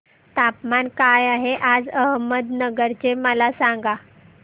तापमान काय आहे आज अहमदनगर चे मला सांगा